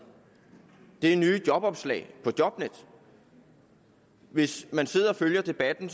det er nye jobopslag på jobnet hvis man sidder og følger debatten